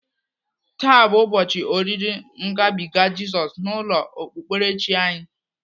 Taa bụ ụbọchị oriri ngabiga Jizọs n'ụlọ okpukperechi anyị.